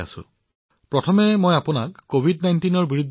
সবাতোকৈ প্ৰথমে আপুনি কভিড১৯ৰ পৰা